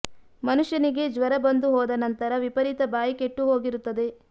ಮನುಷ್ಯನಿಗೆ ಜ್ವರ ಬಂದು ಹೋದ ನಂತರ ವಿಪರೀತ ಬಾಯಿ ಕೆಟ್ಟು ಹೋಗಿರುತ್ತದೆ